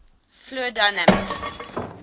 fluid dynamics